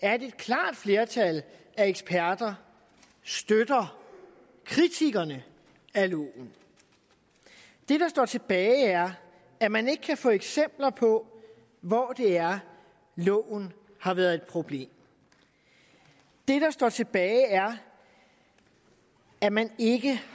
er at et klart flertal af eksperter støtter kritikerne af loven det der står tilbage er at man ikke kan få eksempler på hvor det er loven har været et problem det der står tilbage er at man ikke